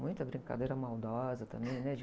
Muita brincadeira maldosa também, né?